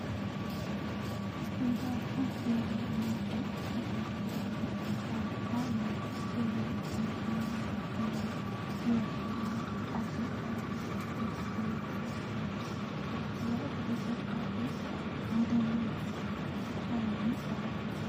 Siidaan kun siidaa mootii Itiyoophiyaa durii maqaan isaa minilik jedhamudha. Mootin minilik nama weerartoota warra adii xaaliyaanii lolee biyya baasun biyya Itiyoophiyaa bilisa baasedha. Mootiin minilik bara kam kan inni dhalate?